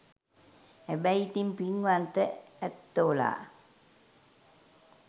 හැබැයි ඉතින් පින්වන්ත ඇත්තොලා